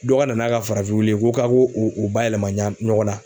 Dɔ ka na n'a ka farafin wulu ye ko ka ko o o bayɛlɛma ɲɔgɔn na.